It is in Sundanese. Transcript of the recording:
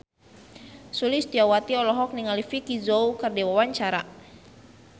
Sulistyowati olohok ningali Vicki Zao keur diwawancara